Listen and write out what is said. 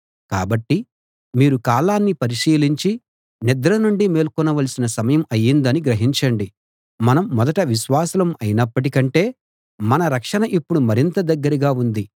కాబట్టి మీరు కాలాన్ని పరిశీలించి నిద్ర నుండి మేల్కొన వలసిన సమయం అయ్యిందని గ్రహించండి మనం మొదట విశ్వాసులం అయినప్పటి కంటే మన రక్షణ ఇప్పుడు మరింత దగ్గరగా ఉంది